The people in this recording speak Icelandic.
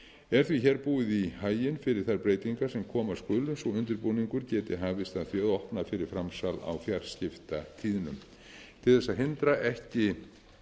er því hér búið í haginn fyrir þær breytingar sem koma skulu svo undirbúningur geti hafist að því að opna fyrir framsal á fjarskiptatíðnum til þess að hindra ekki